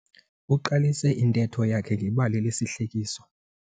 Uqalise intetho yakhe ngebali lesihlekiso.